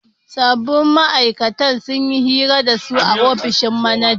Sabbin ma'aikatan sun yi hira da su a ofishin manajan